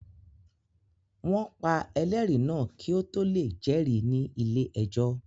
Wọ́n pa ẹlẹ́rìí náà kí ó tó lè jẹ́rìí ní ilé-ẹjọ́